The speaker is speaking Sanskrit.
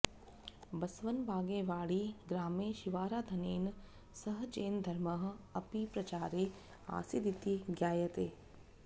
बसवनबागेवाडि ग्रामे शिवाराधनेन सह जैनधर्मः अपि प्रचारे आसीदिति ज्ञायते